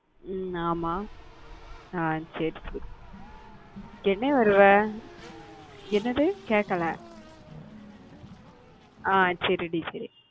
உம் ஆமா அஹ் சரி சரி என்ன வருவ என்னது கேக்கல அஹ் சரி டி சரி